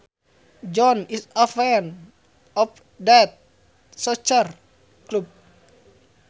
John is a fan of that soccer club